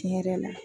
Tiɲɛ yɛrɛ la